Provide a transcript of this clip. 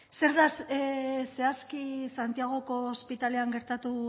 zer da zehazki santiagoko ospitalean gertatu